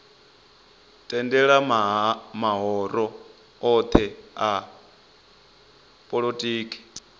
tendela mahoro othe a polotiki